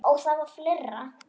Og það var fleira.